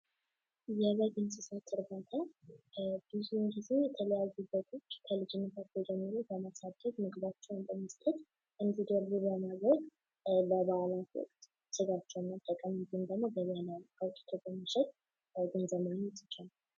የበግ እንስሳት እርባታ በዙዉን ጊዜ የተለያዩ በጎች ከልጅነታቸዉ ጀምሮ በማሳደግ ምግባቸዉን በመስጠት እንዲደልቡ በማድረግ ለባእላት ስጋቸዉን መጠቀም እንዲሁም ደግሞ እንዲሁም ደግሞ ቆዳዉን አዉቶ በመሸጥ ለአጎዛ ለምን ይሰራል።